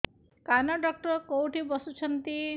କାନ ଡକ୍ଟର କୋଉଠି ବସୁଛନ୍ତି